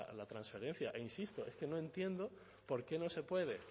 la transferencia e insisto es que no entiendo por qué no se puede